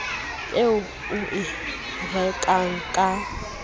eo o e rekang ka